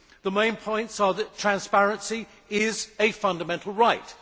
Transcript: The main point is that transparency is a fundamental right.